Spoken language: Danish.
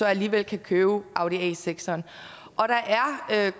alligevel kan købe en audi a6 der er